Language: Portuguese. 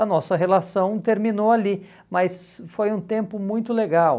a nossa relação terminou ali, mas foi um tempo muito legal.